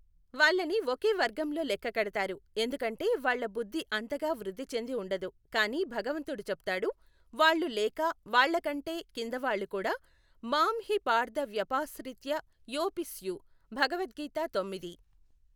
వాళ్ళని ఒకే వర్గంలో లెక్క కడతారు, ఎందుకంటే వాళ్ళ బుద్ధి అంతగా వృద్ధి చెంది ఉండదు కానీ భగవంతుడు చెప్తాడు, వాళ్ళు లేక వాళ్ళ కంటే కింద వాళ్ళు కూడా మాం హి పార్థ వ్యపాశ్రిత్య యేఽపి స్యు , భగవత్ గీత తొమ్మిది.